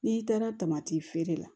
N'i taara tamati feere la